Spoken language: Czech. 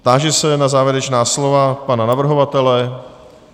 Táži se na závěrečná slova pana navrhovatele.